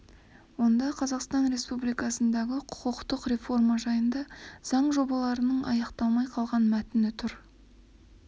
онда қазақстан республикасындағы құқықтық реформа жайындағы заң жобаларының аяқталмай қалған мәтіні тұр